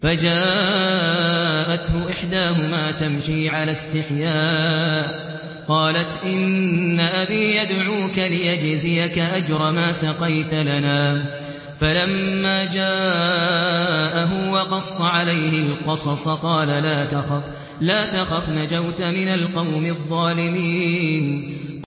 فَجَاءَتْهُ إِحْدَاهُمَا تَمْشِي عَلَى اسْتِحْيَاءٍ قَالَتْ إِنَّ أَبِي يَدْعُوكَ لِيَجْزِيَكَ أَجْرَ مَا سَقَيْتَ لَنَا ۚ فَلَمَّا جَاءَهُ وَقَصَّ عَلَيْهِ الْقَصَصَ قَالَ لَا تَخَفْ ۖ نَجَوْتَ مِنَ الْقَوْمِ الظَّالِمِينَ